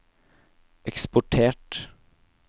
eksportert